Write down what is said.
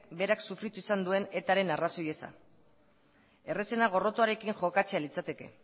berak sufritu izan duen etaren arrazoi eza errazena gorrotoarekin jokatzea litzateke